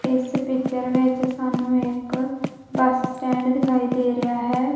ਇਸ ਪਿਕਚਰ ਵਿੱਚ ਸਾਨੂੰ ਇੱਕ ਬੱਸ ਸਟੈਂਡ ਦਿਖਾਈ ਦੇ ਰਿਹਾ ਹੈ।